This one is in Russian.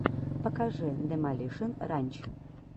покажи демолишен ранч